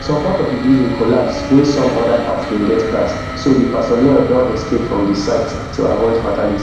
some part of di building collapse wey some oda parts bin get cracks so di personnel don escape from di site to avoid fatality